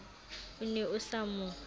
o ne o sa mo